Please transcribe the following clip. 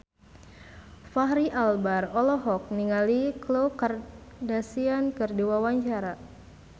Fachri Albar olohok ningali Khloe Kardashian keur diwawancara